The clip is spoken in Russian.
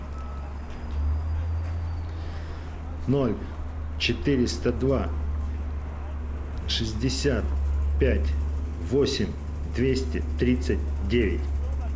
ноль четыреста два шестьдесят пять восемь двести тридцать девять